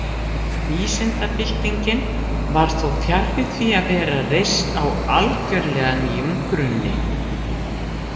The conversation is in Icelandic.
Vísindabyltingin var þó fjarri því að vera reist á algjörlega nýjum grunni.